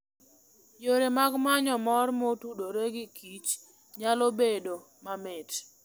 Yore mag manyo mor motudore gi kich nyalo bedo mamit.